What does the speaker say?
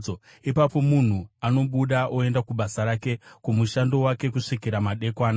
Ipapo munhu anobuda oenda kubasa rake, kumushando wake kusvikira madekwana.